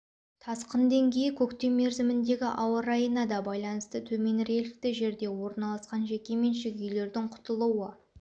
тасқын деңгейі көктем мерзіміндегі ауа райына да байланысты төмен рельефті жерде орналасқан жеке меншік үйлердін құтылуы